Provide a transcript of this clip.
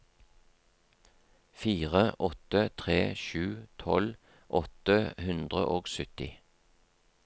fire åtte tre sju tolv åtte hundre og sytti